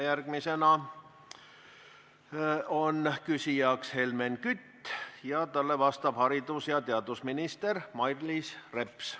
Järgmisena on küsijaks Helmen Kütt, talle vastab haridus- ja teadusminister Mailis Reps.